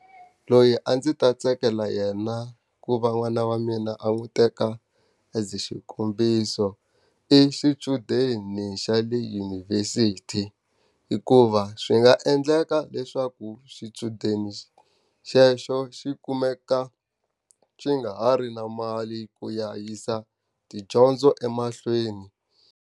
Loyi a ndzi ta tsakela yena ku va n'wana wa mina a n'wi teka as xikombiso, i xichudeni xa le dyunivhesiti. Hikuva swi nga endleka leswaku xichudeni xexo xi kumeka xi nga ha ri na mali ku ya yisa tidyondzo emahlweni.